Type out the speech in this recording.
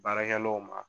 Baarakɛlaw ma